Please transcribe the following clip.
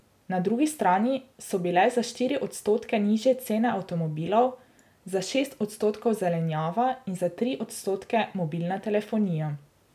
Na drugi strani so bile za štiri odstotke nižje cene avtomobilov, za šest odstotkov zelenjava in za tri odstotke mobilna telefonija.